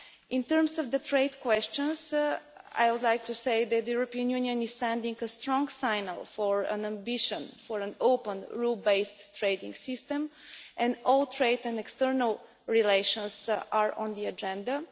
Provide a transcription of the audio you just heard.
In terms of the trade questions, I would like to say that the European Union is sending a strong message on its ambition for an open, rule based trading system, and all trade and external relations are on the agenda.